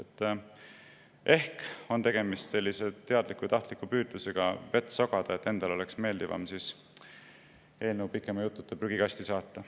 Tegemist võib olla sellise teadliku ja tahtliku püüdlusega vett sogada, et endal oleks meeldivam eelnõu pikema jututa prügikasti saata.